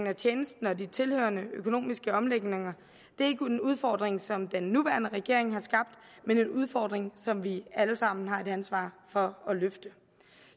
af tjenesten og de tilhørende økonomiske omlægninger er ikke en udfordring som den nuværende regering har skabt men en udfordring som vi alle sammen har et ansvar for at løfte